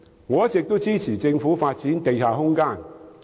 我一直支持政府發展地下空間。